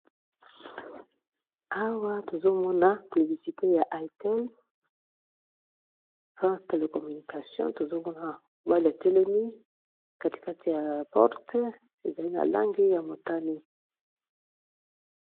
Awa, tozo mona piblisite ya ITEL France Telecommunication. Tozo mona mobali, atelemi katikati ya porte, ezali na langi ya motani.